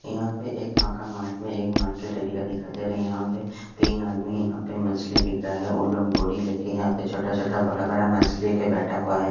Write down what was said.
यहा पे एक माका मार्ट में एक मार्केट एरिया दिखाई दे रहा है यहा पे तिन आदमी यहा पे मछली बिक रहे है ओल्ड गोरी लेके यहा पे छोटा छोटा बड़ा बड़ा मछली लेके बेठा है।